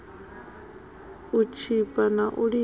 u tshipa na u lila